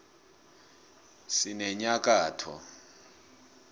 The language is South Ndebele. sinenyakotho